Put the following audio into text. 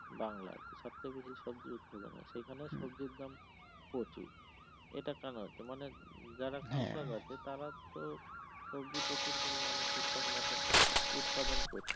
বাংলাদেশ সবচেয়ে বেশি সবজি উৎপাদন হয় সেখানে সবজির দাম প্রচুর এইটা কেনো হচ্ছে মানে যারা কৃষক আছে তারা তো সবজি প্রচুর পরিমানে ঠিকঠাক মতন উৎপাদন করছে ।